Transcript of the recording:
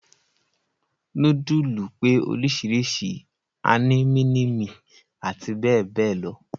Núdùsù pé oríṣiríṣi, a ní mínímì àti bẹ́ẹ̀ bẹ́ẹ̀ lọ.